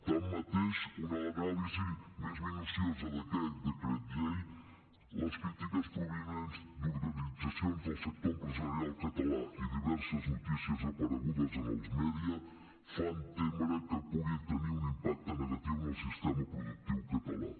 tanmateix una anàlisi més minuciosa d’aquest decret llei les crítiques provinents d’organitzacions del sector empresarial català i diverses notícies aparegudes en els mèdia fan témer que pugui tenir un impacte negatiu en el sistema productiu català